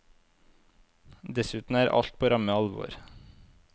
Dessuten er alt på ramme alvor.